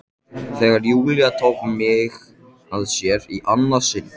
Þegar Júlía tók mig að sér í annað sinn.